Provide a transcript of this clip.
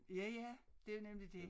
Ja ja det nemlig dét